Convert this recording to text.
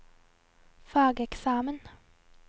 fageksamen